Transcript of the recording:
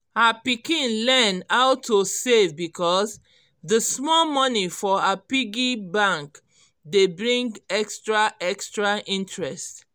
her pikin learn how to save because d small money for her piggy bank dey bring extra extra interest